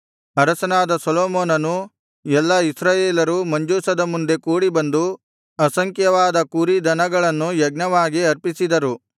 ಅರಸನಾದ ಸೊಲೊಮೋನನೂ ಎಲ್ಲಾ ಇಸ್ರಾಯೇಲರೂ ಮಂಜೂಷದ ಮುಂದೆ ಕೂಡಿಬಂದು ಅಸಂಖ್ಯವಾದ ಕುರಿ ದನಗಳನ್ನು ಯಜ್ಞವಾಗಿ ಅರ್ಪಿಸಿದರು